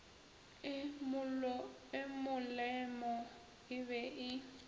e molemo e be e